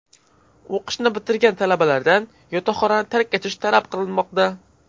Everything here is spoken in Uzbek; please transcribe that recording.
O‘qishni bitirgan talabalardan yotoqxonani tark etish talab qilinmoqda.